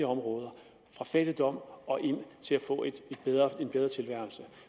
områder fra fattigdom og ind til at få en bedre tilværelse